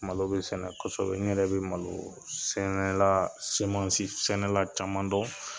Malo bɛ sɛnɛ kosɛbɛ n yɛrɛ bɛ malosɛnɛla sɛnɛla caman dɔn